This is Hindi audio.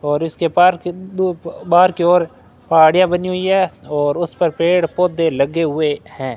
और इसके पार्क बाहर की ओर पहाड़िया बनी हुई है और उसपर पेड़ पौधे लगे हुए है।